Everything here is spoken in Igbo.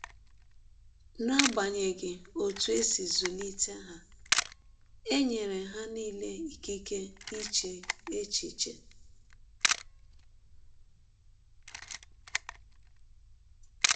N’agbanyeghị ọtụ e si zụlite ha, e nyere ha nile ịkịke iche echiche.